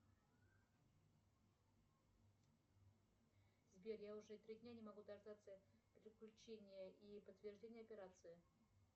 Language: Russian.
сбер я уже три дня не могу дождаться переключения и подтверждения операции